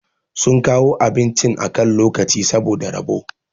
sun kawo abincin akan lokaci saboda rabo